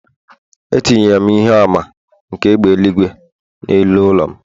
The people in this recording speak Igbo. Etinyere m ihe àmà nke égbè eluigwe n’elu ụlọ m